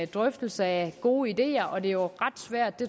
drøftelse af gode ideer og det er jo ret svært